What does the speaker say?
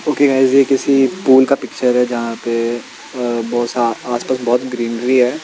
Okay guys ये किसी pool का पिक्चर है जहा पे अ बहुत सा आसपास बहोत ग्रीनरी है।